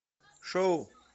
шоу